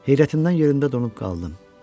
Heyrətimdən yerimdə donub qaldım.